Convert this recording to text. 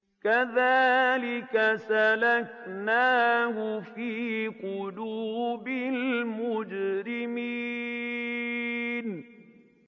كَذَٰلِكَ سَلَكْنَاهُ فِي قُلُوبِ الْمُجْرِمِينَ